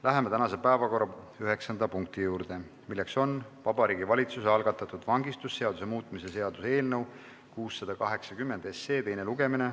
Läheme tänase päevakorra üheksanda punkti juurde, milleks on Vabariigi Valitsuse algatatud vangistusseaduse muutmise seaduse eelnõu 680 teine lugemine.